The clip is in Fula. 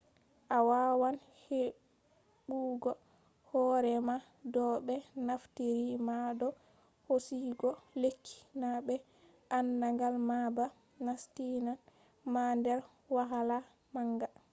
a wawan heɓugo hore ma do ɓe naftiri ma do hosugo lekki na be andagal ma ba nastinan ma der wahala manga